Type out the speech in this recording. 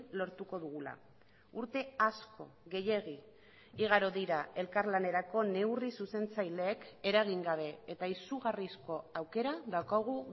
lortuko dugula urte asko gehiegi igaro dira elkarlanerako neurri zuzentzaileek eragin gabe eta izugarrizko aukera daukagu